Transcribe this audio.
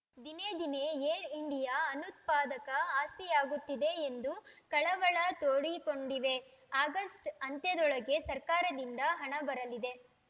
ದಿನೇದಿನೇ Air India ಅನುತ್ಪಾದಕ ಆಸ್ತಿಯಾಗುತ್ತಿದೆ ಎಂದು ಕಳವಳ ತೋಡಿಕೊಂಡಿವೆ ಆಗಸ್ಟ್‌ ಅಂತ್ಯದೊಳಗೆ ಸರ್ಕಾರದಿಂದ ಹಣಬರಲಿದೆ